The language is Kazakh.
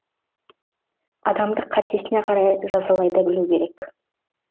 адамды қатесіне қарай жазалай да білу керек